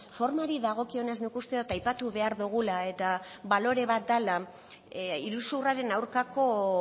formari dagokionez nik uste dut aipatu behar dugula eta balore bat dela iruzurraren aurkako